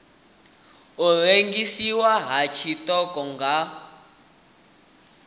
u rengiswa ha tshiṱoko nga